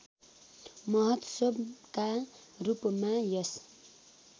महोत्सवका रूपमा यस